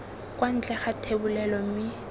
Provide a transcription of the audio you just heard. kwa ntle ga thebolelo mme